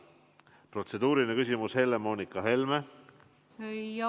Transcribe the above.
Protseduuriline küsimus, Helle-Moonika Helme, palun!